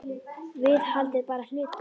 Viðhald er bara hlutur.